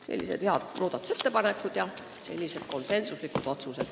Sellised head muudatusettepanekud olid ja sellised konsensuslikud otsused.